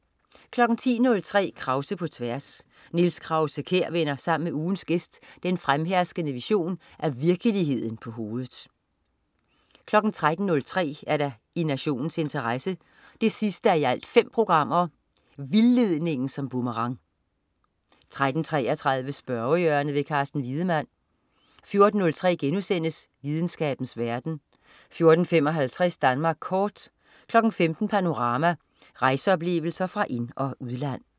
10.03 Krause på tværs. Niels Krause-Kjær vender sammen med ugens gæst den fremherskende version af virkeligheden på hovedet 13.03 I nationens interesse 5:5. Vildledningen som boomerang 13.33 Spørgehjørnet. Carsten Wiedemann 14.03 Videnskabens verden* 14.55 Danmark kort 15.00 Panorama. Rejseoplevelser fra ind- og udland